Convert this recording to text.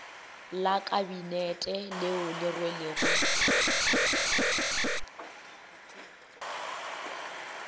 la kabinete leo le rwelego